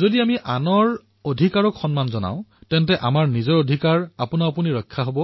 যদি আমি আনৰ অধিকাৰক সন্মান কৰিম তেতিয়া আমাৰ অধিকাৰৰ ৰক্ষা নিজেই হব